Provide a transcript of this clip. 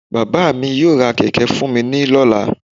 Baba mí yóò rá kẹkẹ fún mi ní lola